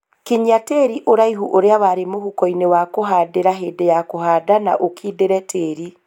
Kinyia tĩri ũraihu ũrĩa warĩ mũhuko-inĩ wa kũhandĩra hĩndĩ ya kũhanda na ũkindĩre tĩri